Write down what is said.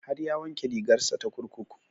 Har ya wanke rigar sa ta kurkuku